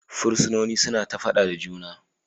Fursunonin suna fada da juna.